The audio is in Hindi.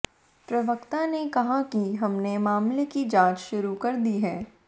प्रवक्ता ने कहा कि हमने मामले की जांच शुरू कर दी है